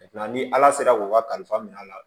ni ala sera k'o kalifa minɛ a la